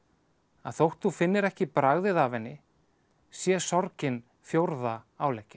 að þótt þú finnir ekki bragðið af henni sé sorgin fjórða